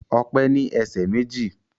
Ọpẹ́ ní ẹsẹ̀ méjì